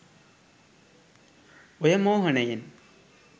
ඔය මෝහනයෙන්